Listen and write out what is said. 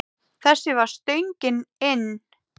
Þessi var stöngin inn.